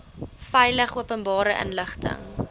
veilig openbare inligting